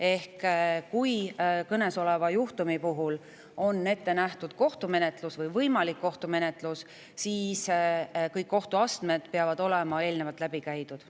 Ehk kui konkreetse juhtumi puhul on ette nähtud kohtumenetlus või kohtumenetlus on võimalik, siis peavad kõik kohtuastmed olema eelnevalt läbi käidud.